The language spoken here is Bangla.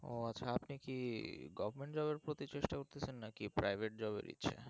ও আপনি কি government job এর প্রতিচেষ্টা করতেছেন নাকি private-job এর ইচ্ছা